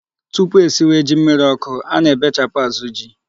Tupu esịwe ji mmirí ọkụ, a na-ebechapụ azụ ji.